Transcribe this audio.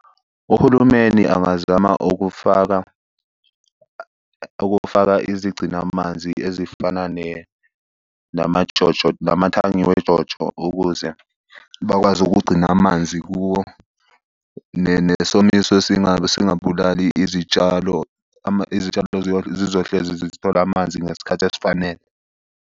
Uhulumeni angazama ukufaka ukufaka izigcinamanzi ezifana nama-JoJo, namathangi we-JoJo, ukuze bakwazi ukugcina amanzi kuwo. Nesomiso singabulali izitshalo. Izitshalo zizohlezi zithola amanzi ngesikhathi esifanele.